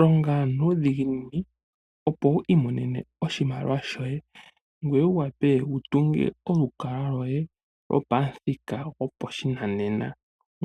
Longa nuudhiginini opo wu imonene oshimaliwa shoye, ngoye wu wapwe wu tunge olukalwa lwoye gwopamuthika gwopashinanena,